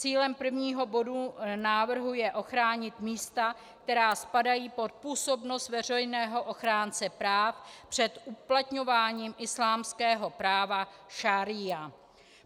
Cílem prvního bodu návrhu je ochránit místa, která spadají pod působnost veřejného ochránce práv před uplatňováním islámského práva šaría.